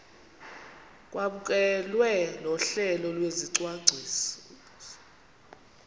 kwamkelwe nohlelo lwesicwangciso